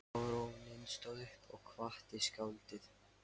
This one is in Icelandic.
Baróninn stóð upp og kvaddi skáldið.